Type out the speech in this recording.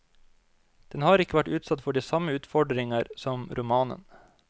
Den har ikke vært utsatt for de samme utfordringer som romanen.